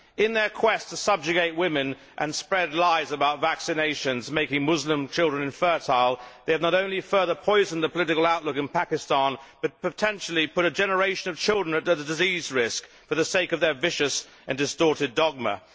In their quest to subjugate women and spread lies about vaccinations making Muslim children infertile, they have not only further poisoned the political outlook in Pakistan, but potentially put a generation of children at risk of disease for the sake of their vicious and distorted dogma.